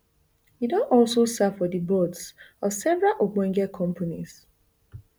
e don also serve for di boards of several ogbonge companies